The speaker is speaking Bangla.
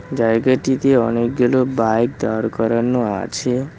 জায়গাটিতে অনেকগুলো বাইক দাঁড় করানো আছে।